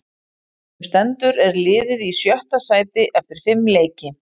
Sem stendur er liðið í sjötta sæti eftir fimm leiki.